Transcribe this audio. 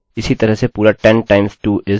हम जानते हैं कि यह सारे सही हैं